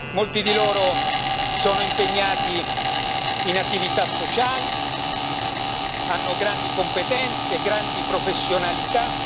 Molti di loro sono impegnati in attività sociali, hanno grandi competenze, grandi professionalità.